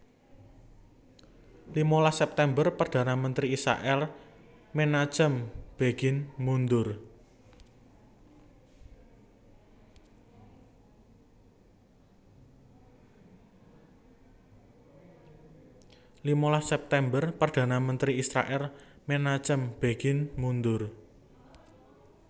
Limalas September Perdana Menteri Israèl Menachem Begin mundur